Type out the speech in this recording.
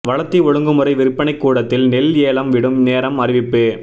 வளத்தி ஒழுங்குமுறை விற்பனைக் கூடத்தில் நெல் ஏலம் விடும் நேரம் அறிவிப்பு